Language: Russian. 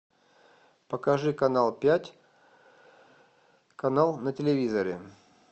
покажи канал пять канал на телевизоре